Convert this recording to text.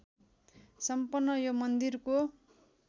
सम्पन्न यो मन्दिरको